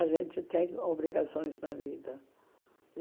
A gente tem obrigações na vida.